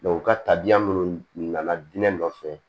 u ka tabiya minnu nana diinɛ nɔfɛ